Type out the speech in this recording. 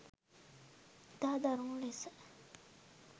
ඉතා දරුණු ලෙස